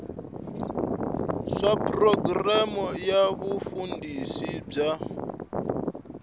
swa programu ya vufambisi bya